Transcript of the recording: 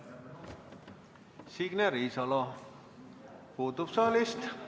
Signe Riisalo puudub saalist.